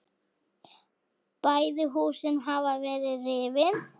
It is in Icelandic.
Bæði húsin hafa verið rifin.